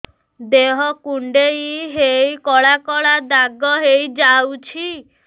ଦେହ କୁଣ୍ଡେଇ ହେଇ କଳା କଳା ଦାଗ ହେଇଯାଉଛି